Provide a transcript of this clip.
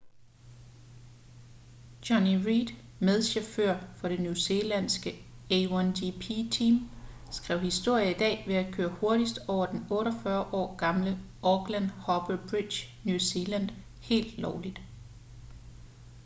jonny reid medchauffør for det new zealandske a1gp team skrev historie i dag ved at køre hurtigst over den 48 år gamle auckland harbour bridge new zealand helt lovligt